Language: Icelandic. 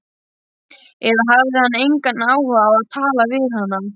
Eða hafði hann engan áhuga á að tala við hana?